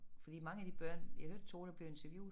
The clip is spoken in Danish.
Fordi mange af de børn jeg hørte 2 der blev interviewet